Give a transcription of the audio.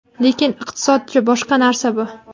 Lekin iqtisodchi boshqa narsa bu.